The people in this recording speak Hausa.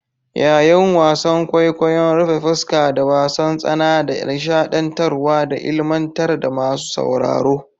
Yayin wasan kwaikwayon rufe fuska da wasan tsana da nishadantarwa da ilmantar da masu sauraro.